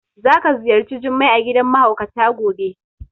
Za ka ziyarci Jummai a gidan mahaukata gobe.